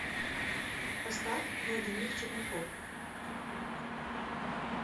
поставь владимир черняков